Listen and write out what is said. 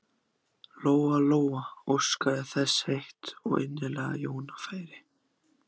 Lóa Lóa óskaði þess heitt og innilega að Jóna færi.